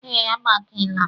Ee, agbakeela m